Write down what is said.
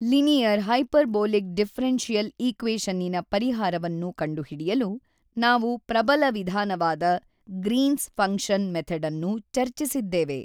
Linear hyperbolic differential ಈಕ್ವೇಶನ್ನಿನ ಪರಿಹಾರವನ್ನು ಕಂಡುಹಿಡಿಯಲು ನಾವು ಪ್ರಬಲ ವಿಧಾನವಾದ ಗ್ರೀನ್ಸ್ ಫಂಕ್ಷನ್ ಮೆಥಡನ್ನು ಚರ್ಚಿಸಿದ್ದೇವೆ.